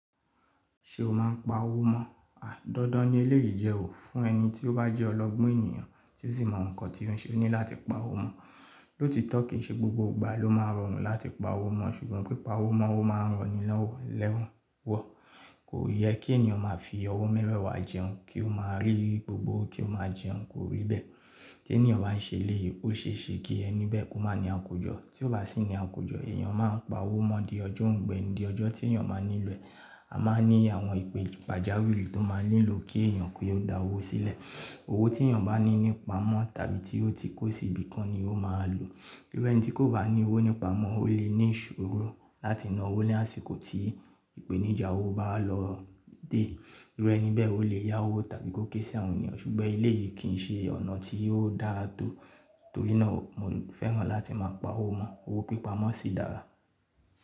Ṣé o máa ń pa owó mọ́? Àí dandan ni eléyìí jẹ́ ò fún ẹni tí ó bá jẹ́ ọlọ́gbọ́n ènìyàn tí ó sì mọ nǹkan tí ó ṣe, o ní láti pa owó mọ́. Lóòtọ́ kì í ṣe gbogbo ìgbà ló máa rọrùn láti pa owó mọ́ ṣùgbọ́n pé pa owó mọ́ ó máa rọ nílọ́wọ́ lẹ́wọ̀n. Wọ̀, kò yẹ kí ènìyàn máa fi ọwọ́ mẹ́wẹ̀wa jẹun kí ó máa rí gbogbo ó kí ó máa fi jẹun, kò rí bẹ́ẹ̀. Lótìtọ́ kì í ṣe gbogbo ìgbà ló máa rọrùn láti pa owó mọ́ ṣùgbọ́n pípa owó mọ́ ó máa ràn nílọ́wọ́ lẹ́wọ̀n. Tí ènìyàn bá sì ní àkójọ, ènìyàn máa ń pawó mọ́ di ọjọ́ òùngbẹ ni, ọjọ́ ènìyàn máa ń nílò rẹ̀ a máa ń ní àwọn ìpè pàjáwìrì tó máa ń nílò kí ènìyàn kí ó dá owó sílẹ̀. Owó tí ènìyàn bani ní ìpamọ́ tàbí tí ó ti kó síbi kan ni ó máa lò irú ẹni tí kò bá ní owó ní ìpamọ́, ó lè ní ìdààmú láti na owó ní ìgbà tí ìpèníjà owó bá lọ dé. Irú ẹni bẹ́ẹ̀ ó lè yá owó tàbí kó ké sí àwọn ènìyàn ṣùgbọ́n eléyìí kì í ṣe ọ̀nà tí yóò dáa tó. Torí náà mo fẹ́ràn láti máa pa owó mọ́. Owó pípa mọ́ sí dára.